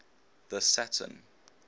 the saturn